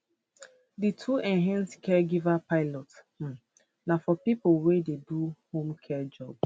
di two enhanced caregiver pilots um na for pipo wey dey do home care jobs